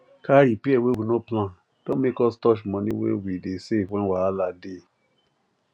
car repair wey we no plan don make us touch money wey we dey save when wahala dey